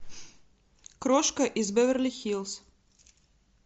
крошка из беверли хиллз